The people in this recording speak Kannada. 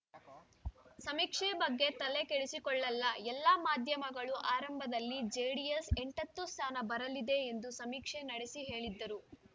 ಸಮೀಕ್ಷೆ ಬಗ್ಗೆ ತಲೆಕೆಡಿಸಿಕೊಳ್ಳೊಲ್ಲ ಎಲ್ಲ ಮಾಧ್ಯಮಗಳೂ ಆರಂಭದಲ್ಲಿ ಜೆಡಿಎಸ್‌ ಎಂಟತ್ತು ಸ್ಥಾನ ಬರಲಿದೆ ಎಂದು ಸಮೀಕ್ಷೆ ನಡೆಸಿ ಹೇಳಿದ್ದರು